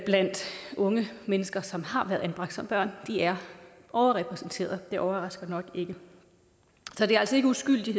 blandt unge mennesker som har været anbragt som børn de er overrepræsenteret det overrasker nok ikke så det er altså ikke uskyldige